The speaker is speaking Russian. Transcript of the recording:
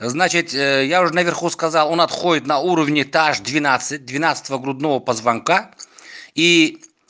значит я уже наверху сказал он отходит на уровне та ж двенадцать двенадцатого грудного позвонка и